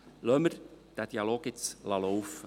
Lassen wir diesen Dialog nun laufen.